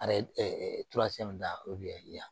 Ayi da o bi yan